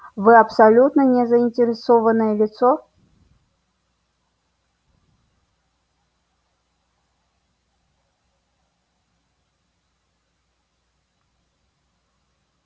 вы абсолютно не заинтересованное лицо